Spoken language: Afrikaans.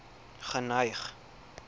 geneig